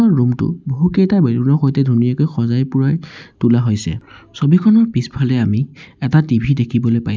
ৰুমটো বহু কেইটা বেলুনৰ সৈতে ধুনীয়াকৈ সজাই পৰাই তোলা হৈছে ছবিখনৰ পিছফালে আমি এটা টি_ভি দেখিবলৈ পাইছোঁ।